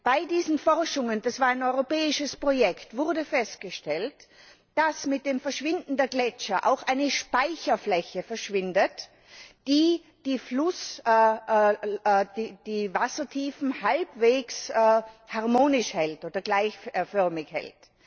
Bei diesen Forschungen das war ein europäisches Projekt wurde festgestellt, dass mit dem Verschwinden der Gletscher auch eine Speicherfläche verschwindet, die die Wassertiefen halbwegs harmonisch oder gleichförmig hält.